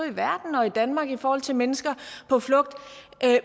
i verden og i danmark i forhold til mennesker på flugt